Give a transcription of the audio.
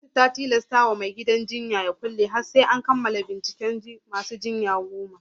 Gwamnati ta tilastawa mai gidan jinyar da ya kulle ha AR sai an kammala binciken mutuwar masu jinya goma